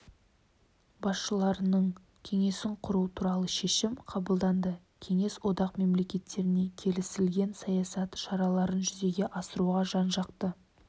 басшыларының кеңесін құру туралы шешім қабылданды кеңес одақ мемлекеттеріне келісілген саясат шараларын жүзеге асыруға жан-жақты